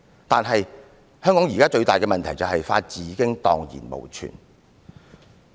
"可是，香港現時最大的問題就是法治已經蕩然無存。